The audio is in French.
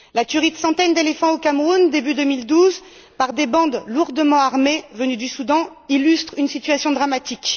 La tuerie de centaines d'éléphants au Cameroun début 2012, par des bandes lourdement armées venues du Soudan illustre une situation dramatique.